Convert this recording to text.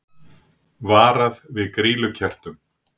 Varað við grýlukertum